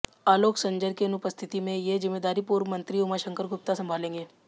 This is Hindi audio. आलोक संजर की अनुपस्थिति में ये जिम्मेदारी पूर्व मंत्री उमाशंकर गुप्ता संभालेंगे